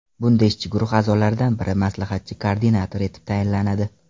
Bunda ishchi guruh a’zolaridan biri maslahatchi-koordinator etib tayinlanadi.